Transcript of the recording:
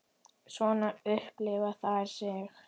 Svona upplifa þær sig.